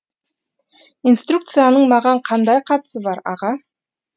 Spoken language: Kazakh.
инструкцияның маған қандай қатысы бар аға